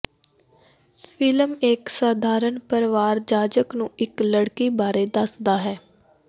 film ਇੱਕ ਸਧਾਰਨ ਪਰਿਵਾਰ ਜਾਜਕ ਨੂੰ ਇੱਕ ਲੜਕੀ ਬਾਰੇ ਦੱਸਦਾ ਹੈ